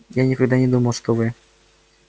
я никогда не думал что вы